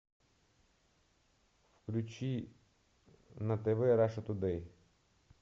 включи на тв раша тудей